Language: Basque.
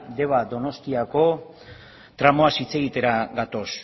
deba donostiako tramuaz hitz egitera gatoz